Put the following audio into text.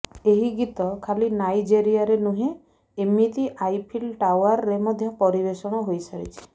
ଏହି ଗୀତ ଖାଲି ନାଇଜେରିଆରେ ନୁହେଁ ଏମିତି ଆଇଫିଲ୍ ଟାଓ୍ୱାରେ ମଧ୍ୟ ପରିବେଶଣ ହୋଇସାରିଛି